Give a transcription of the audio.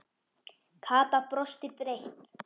Kata brosti breitt.